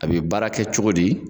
A bi baara kɛ cogo di?